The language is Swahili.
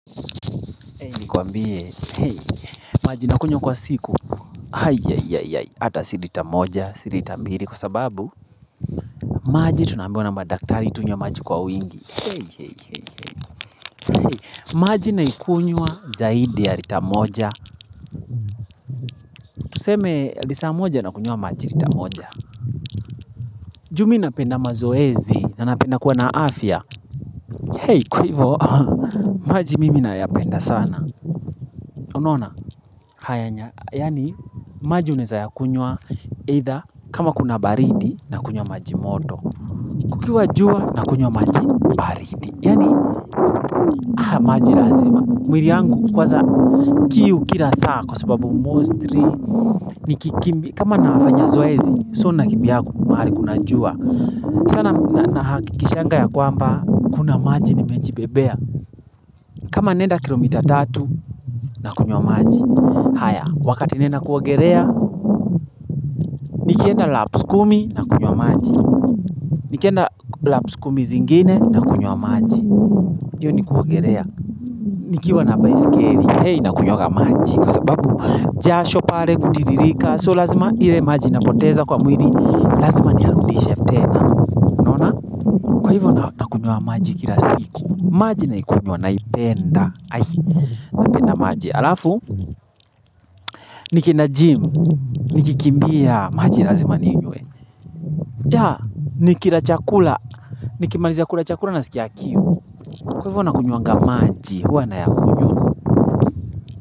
Hei ni kuambie, hei, maji nakunywa kwa siku Haiaiaiaiai, hata silita moja, silita mbili kwa sababu maji tunambiwa na ma daktari, tunywe maji kwa wingi Hei, hei, hei, hei, hei maji naikunywa zaidi ya lita moja Tuseme, lisa moja nakunywa maji lita moja Ju mi napenda mazoezi, nanapenda kuwa na afya Hei, ku hivyo, maji mimi nayapenda sana Unaona, haya, yaani, maji unaeza yakunywa either kama kuna baridi na kunywa maji moto Kukiwa jua na kunywa maji baridi yaani haya maji lazima mwili yangu kwaza kiu kila saa kwa sababu mostri Nikikimbi kama nafanya zoezi So nakibimbiaga mahali kuna jua sana na hakikishanga ya kwamba Kuna maji nimejibebea kama naenda kilomita tatu na kunywa maji haya wakati naenda kuogelea nikienda laps kumi na kunywa maji Nikienda laps kumi zingine na kunywa maji Yo ni kuaogelea Nikiwa na baiskeli He nakunywaga maji Kwa sababu jasho pale kutiririka So lazima ile maji napoteza kwa mwili Lazima niyarudishe tena maji kila siku maji naikunywa naipenda hai Napenda maji Alafu Nikienda gym Nikikimbia maji lazima ninywe ya Nikira chakula Nikimalizia kula chakula nasikia kiu Kwa hivo nakunywaga maji huwa na yakunywa.